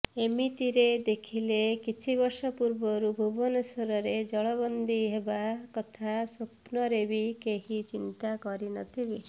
ଏମିତିରେ ଦେଖିଲେ କିଛିବର୍ଷ ପୂର୍ବରୁ ଭୁବନେଶ୍ୱରରେ ଜଳବନ୍ଦୀ ହେବା କଥା ସ୍ୱପ୍ନରେ ବି କେହି ଚିନ୍ତା କରିନଥିବେ